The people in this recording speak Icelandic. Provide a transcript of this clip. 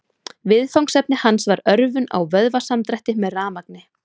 Viðfangsefni hans var örvun á vöðvasamdrætti með rafmagni.